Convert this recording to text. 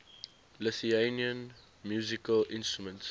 lithuanian musical instruments